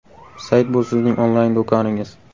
Sayt bu sizning onlayn do‘koningiz.